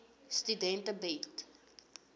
studente bied